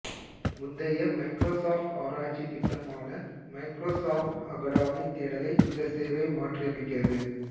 முந்தைய மைக்ரோசாஃப்ட் ஆராய்ச்சி திட்டமான மைக்ரோசாஃப்ட் அகாடமிக் தேடலை இந்த சேவை மாற்றியமைக்கிறது